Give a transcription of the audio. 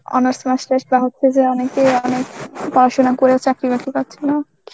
honours master's বাহঃ হচ্ছে যে অনেকেই অনেক পড়াশুনা করেও চাকরি বাকরি পাচ্ছে না.